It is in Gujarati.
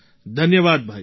ધન્યવાદ ભાઈ